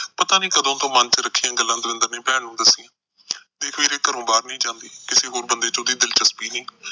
ਪਤਾ ਨੀ ਕਦੋਂ ਤੋਂ ਮਨ ਚ ਰੱਖੀਆਂ ਗੱਲਾਂ ਦਵਿੰਦਰ ਨੇ ਭੈਣ ਨੂੰ ਦੱਸੀਆਂ। ਤੇ ਫਿਰ ਘਰੋਂ ਬਾਹਰ ਨੀ ਜਾਂਦੀ, ਕਿਸੇ ਹੋਰ ਬੰਦੇ ਚ ਉਹਦੀ ਦਿਲਚਸਪੀ ਨਈ।